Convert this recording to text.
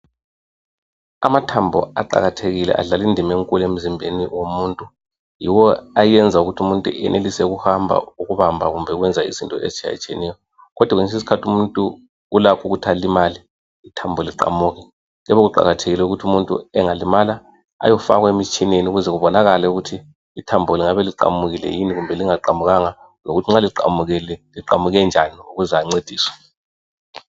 Amathambo aqakathekile adlala indima enkulu emzimbeni womuntu yiwo ayenza ukuthi umuntu ayenelise ukuhamba ukubamba kumbe ukwenza izinto ezitshiyetshiyeneyo kodwa kwesinye isikhathi umuntu ulakho ukuthi alimale ithambo liqamuke kuyabe kuqakathekile ukuthi angalimala ayofakwa emtshineni ukuze kubonakale ukuthi ithambo lingabe liqamukile kumbe lingaqamukanga lokuthi nxa liqamukile liqamuke njani ukuze ancediswe.